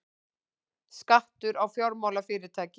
Skattur á fjármálafyrirtæki